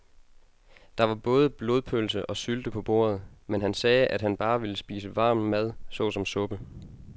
Der var både blodpølse og sylte på bordet, men han sagde, at han bare ville spise varm mad såsom suppe.